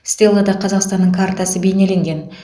стеллада қазақстанның картасы бейнеленген